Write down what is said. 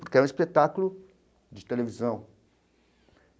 Porque é um espetáculo de televisão.